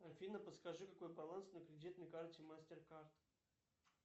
афина подскажи какой баланс на кредитной карте мастер кард